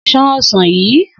S̩an o̩sàn yìí!